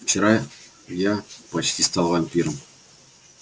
вчера я почти стал вампиром